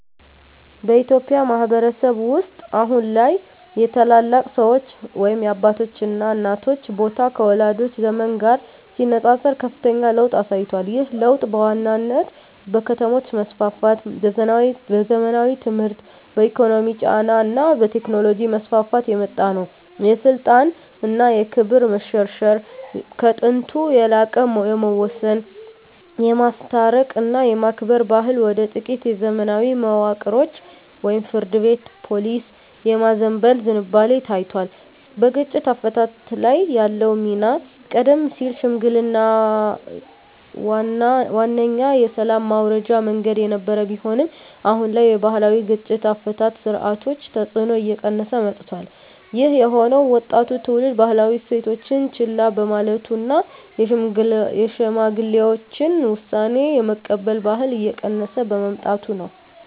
በኢትዮጵያ ማኅበረሰብ ውስጥ አሁን ላይ የታላላቅ ሰዎች (አባቶችና እናቶች) ቦታ ከወላጆቻችን ዘመን ጋር ሲነጻጸር ከፍተኛ ለውጥ አሳይቷል። ይህ ለውጥ በዋናነት በከተሞች መስፋፋት፣ በዘመናዊ ትምህርት፣ በኢኮኖሚ ጫና እና በቴክኖሎጂ መስፋፋት የመጣ ነው። የስልጣን እና ክብር መሸርሸር፦ ከጥንቱ የላቀ የመወሰን፣ የማስታረቅ እና የማክበር ባህል ወደ ጥቂት የዘመናዊ መዋቅሮች (ፍርድ ቤት፣ ፖሊስ) የማዘንበል ዝንባሌ ታይቷል። በግጭት አፈታት ላይ ያለው ሚና፦ ቀደም ሲል ሽምግልናዋነኛ የሰላም ማውረጃ መንገድ የነበረ ቢሆንም፣ አሁን ላይ የባህላዊ የግጭት አፈታት ሥርዓቶች ተጽዕኖ እየቀነሰ መጥቷል። ይህ የሆነው ወጣቱ ትውልድ ባህላዊ እሴቶችን ችላ በማለቱ እና የሽማግሌዎችን ውሳኔ የመቀበል ባህል እየቀነሰ በመምጣቱ ነው።